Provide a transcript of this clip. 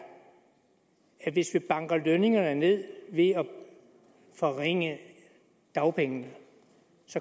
at hvis vi banker lønningerne ned ved at forringe dagpengene